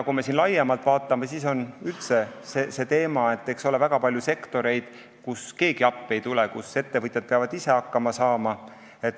Kui me vaatame laiemalt, siis on üldse väga palju sektoreid, kus keegi appi ei tule, ettevõtjad peavad ise hakkama saama.